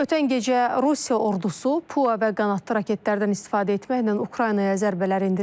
Ötən gecə Rusiya ordusu PUA və qanadlı raketlərdən istifadə etməklə Ukraynaya zərbələr endirib.